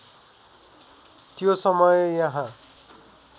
त्यो समय यहाँ